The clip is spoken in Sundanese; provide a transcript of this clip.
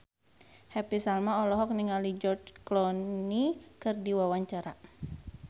Happy Salma olohok ningali George Clooney keur diwawancara